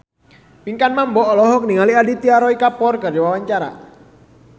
Pinkan Mambo olohok ningali Aditya Roy Kapoor keur diwawancara